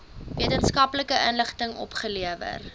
wetenskaplike inligting opgelewer